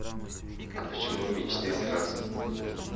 а почему мечты сразу